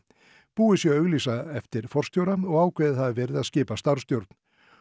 búið sé að auglýsa eftir forstjóra og ákveðið hafi verið að skipa starfsstjórn